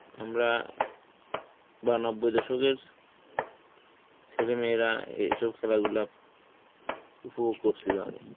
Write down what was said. আমরা বা নব্বই দশকের ছেলেমেয়েরা এ~ এইসব খেলা গুলা খুব করছিল আগে.